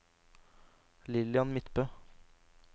Lillian Midtbø